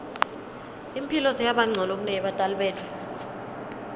imphilo seyabancono kuneyebatali betfu